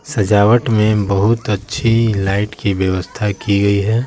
सजावट में बहुत अच्छी लाइट की व्यवस्--